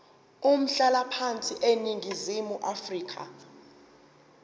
umhlalaphansi eningizimu afrika